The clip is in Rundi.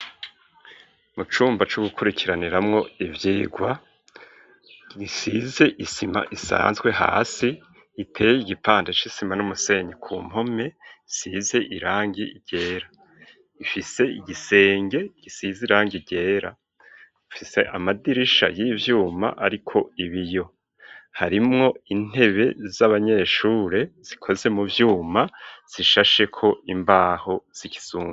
Mu cumba c'u gukurikiraniramwo ivyigwa gisize isima isanzwe hasi iteye igipanda c'isima n'umusenyi ku mpome size irangi ryera ifise igisenge gisize irangi ryera ifise amadirisha y'ivyuma ariko ibi yo harimwo intebe z'abanyeshure zikoze mu vyuma zishashe ko imbaho z'ikizungu.